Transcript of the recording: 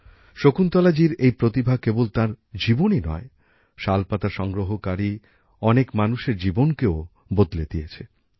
শকুন্তলাজির এই প্রতিভা কেবল তাঁর জীবনই নয় শাল পাতা সংগ্রহকারী অনেক মানুষের জীবনকেও বদলে দিয়েছে